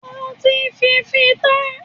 O ti fì í fì tán!